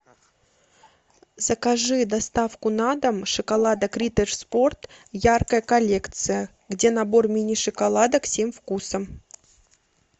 закажи доставку на дом шоколада риттер спорт яркая коллекция где набор мини шоколадок семь вкусов